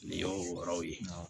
Nin y'o yɔrɔw ye